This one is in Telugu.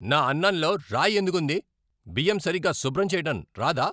నా అన్నంలో రాయి ఎందుకుంది? బియ్యం సరిగ్గా శుభ్రం చెయ్యటం రాదా?